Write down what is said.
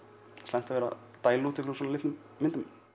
slæmt að vera að dæla út svona litlum myndum